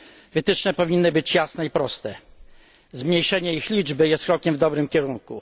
Wytyczne powinny być jasne i proste, a zmniejszenie ich liczby jest krokiem w dobrym kierunku.